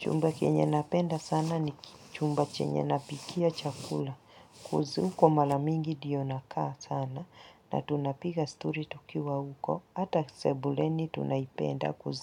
Chumba kienye napenda sana ni chumba chenye napikia chakula kuzi huko malamingi ndiyo nakaa sana na tunapiga stori tukiwa huko ata sebuleni tunaipenda kuzi